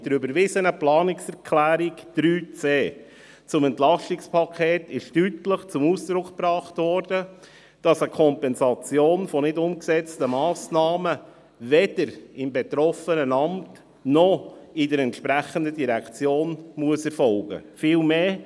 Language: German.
Mit der überwiesenen Planungserklärung 3.c zum EP 2018 wurde deutlich zum Ausdruck gebracht, dass eine Kompensation von nicht umgesetzten Massnahmen weder im betroffenen Amt noch in der entsprechenden Direktion erfolgen muss.